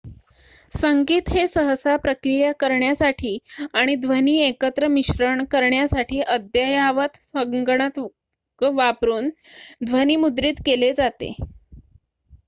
संगीत हे सहसा प्रक्रिया करण्यासाठी आणि ध्वनी एकत्र मिश्रण करण्यासाठी अद्ययावत संगणक वापरून ध्वनीमुद्रित केले जाते